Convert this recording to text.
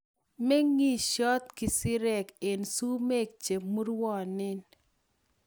meng'isot kisirek eng' sumek che murwonen